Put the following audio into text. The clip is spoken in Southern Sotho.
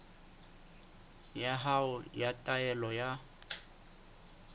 ya hao ya taelo ya